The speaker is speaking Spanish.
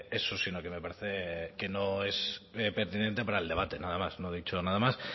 eso sino que me parece que no es pertinente para el debate nada más no he dicho nada más